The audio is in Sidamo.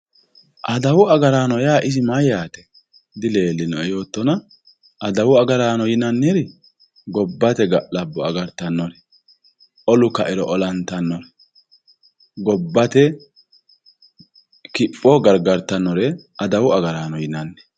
adawu agaraano yaa isi mayyaate dileellinoe yoottona adawu agaraano yinanniri gobbate ga'labbo agartanore olu kairo olantannore gobbate kipho gargartannore adawu agaraano yinanni.